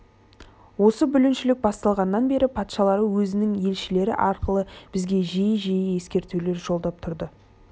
осы бүліншілік басталғаннан бері патшалары өзінің елшілері арқылы бізге жиі-жиі ескертулер жолдап тұрды